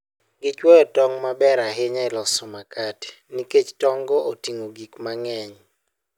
Gichuoyo tong' ma ber ahinya e loso makate nikech tong'go oting'o gik mang'eny.